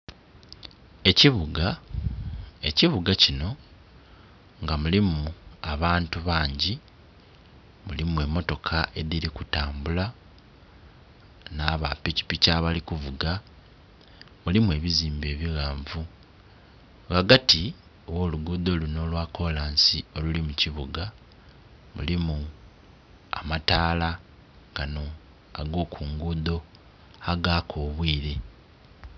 Ekibuga, ekibuga kinho nga mulimu abantu bangi, mulimu emotoka edhiri ku tambula na bapikipiki abali kuvuga muli ebizimbe ebighanvu. Ghagati gholugudho luno olwa kolansi oluli mu kibuga mulimu amataala gano ago ku ngudho agaka obwire.